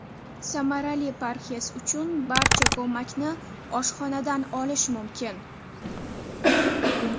Samarali parhez uchun barcha ko‘makni oshxonadan olish mumkin.